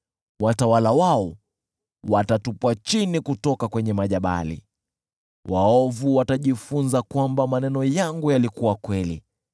watawala wao watatupwa chini kutoka kwenye majabali, waovu watajifunza kwamba maneno yangu yalikuwa kweli.